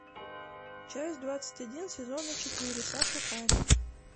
часть двадцать один сезона четыре саша таня